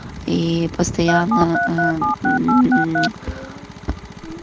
ии постоянно э мм